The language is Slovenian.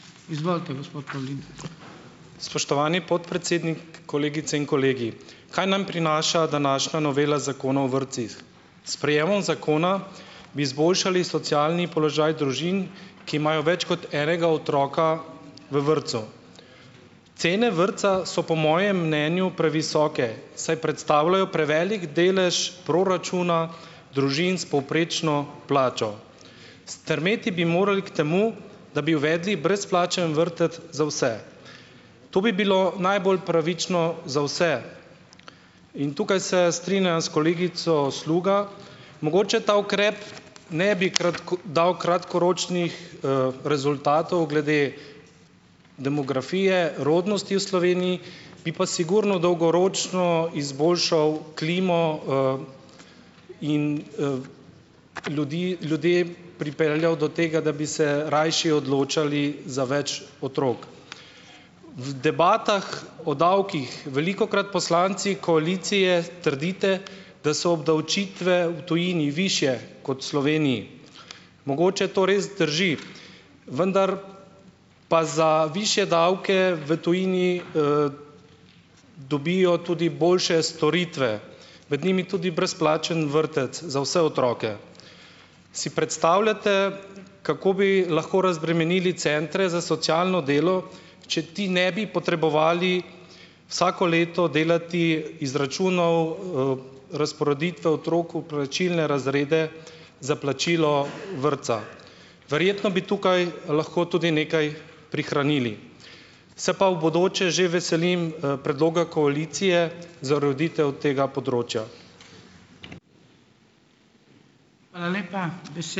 Spoštovani podpredsednik, kolegice in kolegi! Kaj nam prinaša današnja novela Zakona o vrtcih? S sprejemom zakona bi izboljšali socialni položaj družin, ki imajo več kot enega otroka v vrtcu. Cene vrtca so po mojem mnenju previsoke, saj predstavljajo prevelik delež proračuna družin s povprečno plačo. Strmeti bi morali k temu, da bi uvedli brezplačen vrtec za vse. To bi bilo najbolj pravično za vse. In tukaj se strinjam s kolegico Sluga, mogoče ta ukrep ne bi dal kratkoročnih, rezultatov glede demografije rodnosti v Sloveniji. Bi pa sigurno dolgoročno izboljšal klimo, in, ljudi ljudi pripeljal do tega, da bi se rajši odločali za več otrok. V debatah o davkih velikokrat poslanci koalicije trdite, da so obdavčitve u tujini višje kot v Sloveniji. Mogoče to res drži, vendar pa za višje davke v tujini, dobijo tudi boljše storitve, med njimi tudi brezplačen vrtec za vse otroke. Si predstavljate, kako bi lahko razbremenili centre za socialno delo, če ti ne bi potrebovali vsako leto delati izračunov, razporeditve otrok v plačilne razrede za plačilo vrtca. Verjetno bi tukaj lahko tudi nekaj prihranili. Se pa v bodoče že veselim, predloga koalicije za ureditev tega področja.